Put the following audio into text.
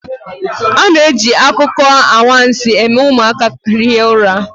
A na-eji akụkọ anwansi eme ụmụaka hie ụra